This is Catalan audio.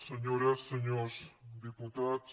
senyores senyors diputats